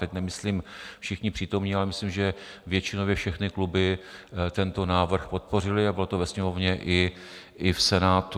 Teď nemyslím všichni přítomní, ale myslím, že většinově všechny kluby tento návrh podpořily, a bylo to ve Sněmovně i v Senátu.